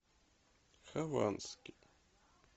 хованский